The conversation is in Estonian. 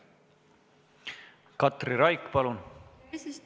Katri Raik, palun!